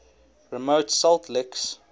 remote salt licks